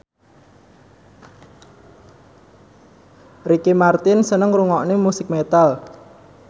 Ricky Martin seneng ngrungokne musik metal